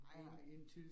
Nej nej